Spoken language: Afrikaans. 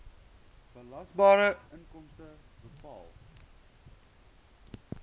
belasbare inkomste bepaal